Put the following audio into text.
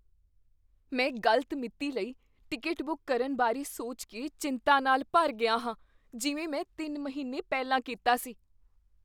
ਮੈਂ ਗਲਤ ਮਿਤੀ ਲਈ ਟਿਕਟ ਬੁੱਕ ਕਰਨ ਬਾਰੇ ਸੋਚ ਕੇ ਚਿੰਤਾ ਨਾਲ ਭਰ ਗਿਆ ਹਾਂ ਜਿਵੇਂ ਮੈਂ ਤਿੰਨ ਮਹੀਨੇ ਪਹਿਲਾਂ ਕੀਤਾ ਸੀ